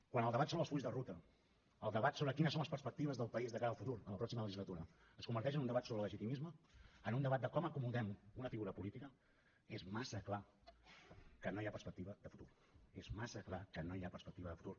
quan el debat sobre els fulls de ruta el debat sobre quines són les perspectives del país de cara al futur a la pròxima legislatura es converteix en un debat sobre el legitimisme en un debat de com acomodem una figura política és massa clar que no hi ha perspectiva de futur és massa clar que no hi ha perspectiva de futur